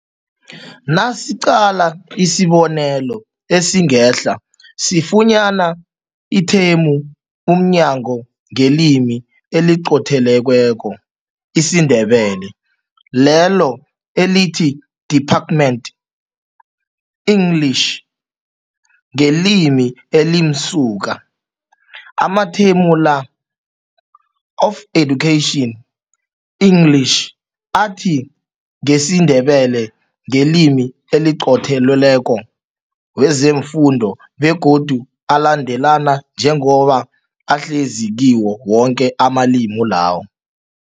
Nasiqala isibonelo esingehla sifunyana ithemu umnyango ngelimi eliqothelweko, isiNdebele, lelo elithi Department, English, ngelimi elimsuka. Amathemu la, of education, English, athi ngesiNdebele, ngelimi eliqothelweko, wezefundo begodu alandelana njengoba ahlezi kiwo woke amalimi la.